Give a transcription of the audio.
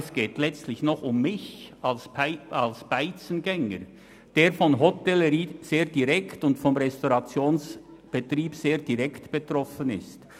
Es geht letztlich auch um mich als Restaurantbesucher, der von der Hotellerie und Gastronomie sehr direkt betroffen ist.